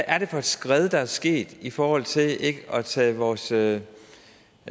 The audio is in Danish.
er for et skred der er sket i forhold til ikke at tage vores tage